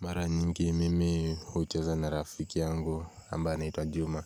Mara nyingi mimi hucheza na rafiki yangu ambaye anaitwa juma